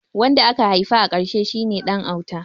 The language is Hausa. Wanda aka haifa a karshe shi ne ɗan auta